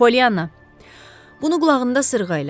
Polyanna, bunu qulağında sırğa elə.